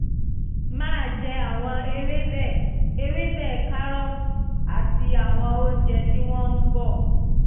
máa jẹ àwọn ewébẹ̀ ewébẹ̀ kárọ́ọ̀tì àti àwọn oúnjẹ tí wọ́n bọ̀